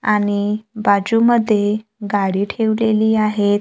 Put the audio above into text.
आणि बाजूमध्ये गाडी ठेवलेली आहे.